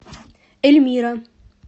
эльмира